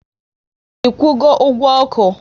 I kwụgo ụgwọ oku?